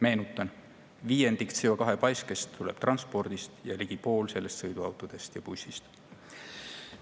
Meenutan, viiendik CO2-paiskest tuleb transpordist ja ligi pool sellest sõiduautodest ja bussidest.